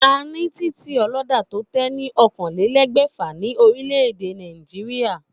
A ní titì olódà tó lé ní oókanlelégbèfà ní orílè-èdè Nàìjíríà